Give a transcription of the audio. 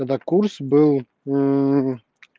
когда курс был